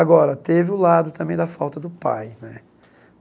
Agora, teve o lado também da falta do pai, né?